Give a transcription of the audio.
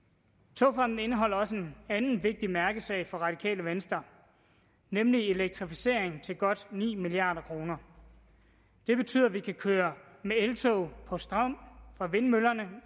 togfonden dk indeholder også en anden vigtig mærkesag for radikale venstre nemlig elektrificering til godt ni milliard kroner det betyder at vi kan køre med eltog på strøm fra vindmøllerne